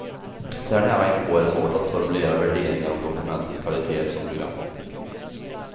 Så här nära inpå är det svårt att formulera värderingar om dokumentets kvaliteter som program.